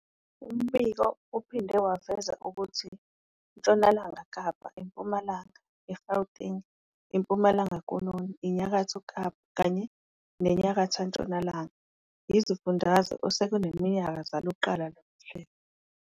Umbiko uphinde waveza ukuthi Ntshonalanga Kapa, iMpumalanga, iGauteng, iMpumalanga Koloni, iNyakatho Kapa kanye neNyakatho Ntshonalanga yizifundazwe osekuneminyaka zaluqalisa lolu hlelo